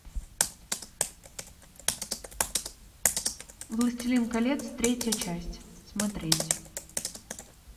властелин колец третья часть смотреть